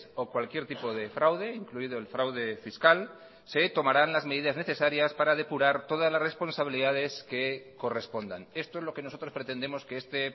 o cualquier tipo de fraude incluido el fraude fiscal se tomarán las medidas necesarias para depurar todas las responsabilidades que correspondan esto es lo que nosotros pretendemos que este